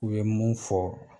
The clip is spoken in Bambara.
U ye mun fɔ.